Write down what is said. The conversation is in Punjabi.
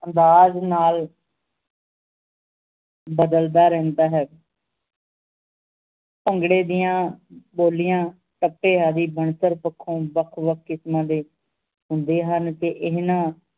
ਅੰਦਾਜ਼ ਨਾਲ ਬਦਲਦਾ ਰਹਿੰਦਾ ਹੈ ਭੰਗੜੇ ਦੀਆਂ ਬੋਲੀਆਂ ਕੱਪੇ ਆਦੀ ਪੱਖੋਂ ਵੱਖ ਵੱਖ ਕਿਸਮਾਂ ਦੇ ਹੁੰਦੇ ਹਨ ਤੇ ਇਹਨਾਂ